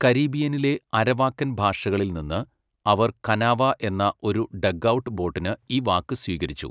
കരീബിയനിലെ അരവാക്കൻ ഭാഷകളിൽ നിന്ന് അവർ കനാവ എന്ന ഒരു ഡഗ്ഔട്ട് ബോട്ടിന് ഈ വാക്ക് സ്വീകരിച്ചു.